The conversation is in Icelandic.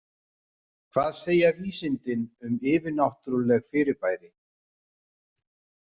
Hvað segja vísindin um yfirnáttúrleg fyribæri?